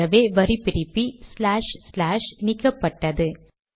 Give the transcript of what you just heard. ஆகவே வரி பிரிப்பி ஸ்லாஷ் ஸ்லாஷ் நீக்கப்பட்டது